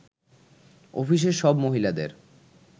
অফিসের সব মহিলাদের